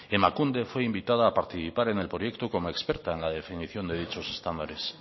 emakunde fue invitada a participar en el proyecto como experta en la definición de dichos estándares